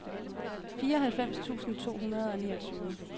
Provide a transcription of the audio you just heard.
fireoghalvfems tusind to hundrede og niogtyve